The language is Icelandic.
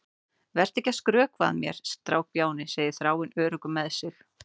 Vertu ekki að skrökva að mér, strákbjáni, segir Þráinn, öruggur með sig.